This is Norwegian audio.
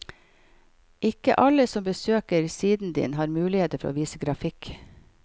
Ikke alle som besøker siden din har muligheter for å vise grafikk.